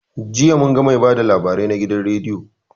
Jiya munga mai ba da labarai na gidan rediyo